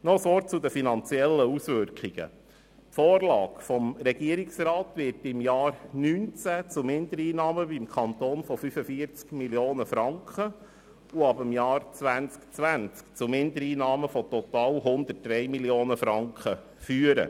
Noch ein Wort zu den finanziellen Auswirkungen: Die Vorlage des Regierungsrats wird im Jahr 2019 zu Mindereinnahmen des Kantons von 45 Mio. Franken und ab 2020 zu Mindereinnahmen von total 103 Mio. Franken führen.